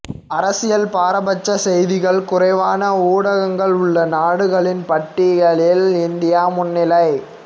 அரசியல் பாரபட்ச செய்திகள் குறைவான ஊடகங்கள் உள்ள நாடுகளின் பட்டியலில் இந்தியா முன்னிலை